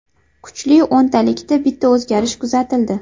Kuchli o‘ntalikda bitta o‘zgarish kuzatildi.